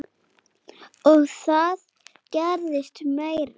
Og það gerðist meira.